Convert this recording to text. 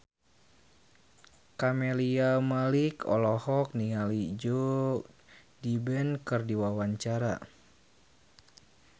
Camelia Malik olohok ningali Joe Biden keur diwawancara